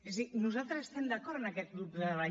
és a dir nosaltres estem d’acord amb aquest grup de treball